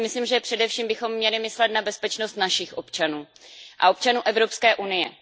Já si myslím, že bychom především měli myslet na bezpečnost našich občanů a občanů Evropské unie.